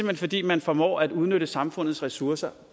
hen fordi man formår at udnytte samfundets ressourcer